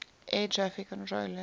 air traffic controllers